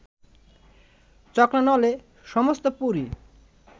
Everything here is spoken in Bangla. চক্রানলে সমস্ত পুরী